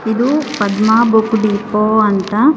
ಇದು Padma book depot ಅಂತ--